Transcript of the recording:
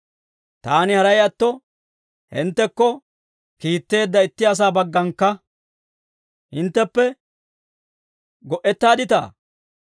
Taani haray atto, hinttekko kiitteedda itti asaa bagganakka hintteppe go"ettaadditaa?